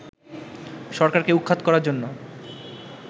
সরকারকে উৎখাত করার জন্য